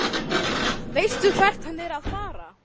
Veistu hvert hann er að fara?